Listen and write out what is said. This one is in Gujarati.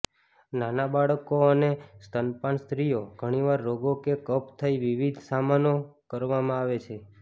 નાના બાળકો અને સ્તનપાન સ્ત્રીઓ ઘણીવાર રોગો કે કફ થઇ વિવિધ સામનો કરવામાં આવે છે